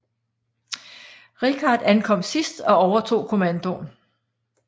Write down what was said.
Richard ankom sidst og overtog kommandoen